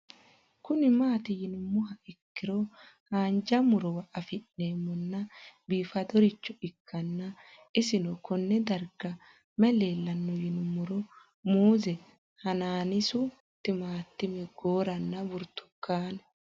Kuni mati yinumoha ikiro hanja murowa afine'mona bifadoricho ikana isino Kone darga mayi leelanno yinumaro muuze hanannisu timantime gooranna buurtukaane